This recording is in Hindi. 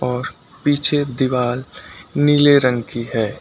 और पीछे दीवाल नीले रंग की है।